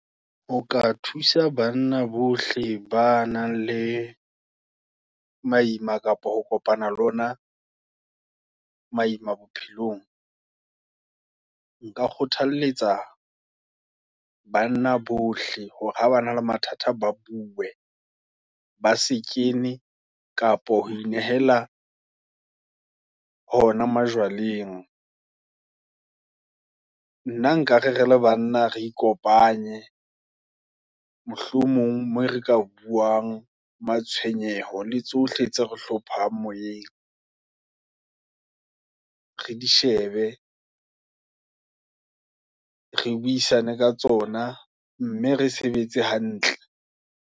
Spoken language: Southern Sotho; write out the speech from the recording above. O ka thusa banna bohle, ba nang le maima, kapa ho kopana le ona, maima bophelong. Nka kgothaletsa banna bohle, hore habana le mathata ba bue, ba sekene, kapa ho inehella, hona majwaleng. Nna nka re re le banna re ikopanye, mohlomong moo re ka buang, matshoenyeho, le tsohle tse re hlomphehang moyeng, re di shebe, re buisane ka tsona, mme re sebetse hantle.